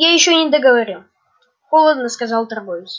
я ещё не договорил холодно сказал торговец